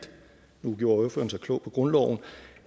nu gjorde ordføreren sig klog på grundloven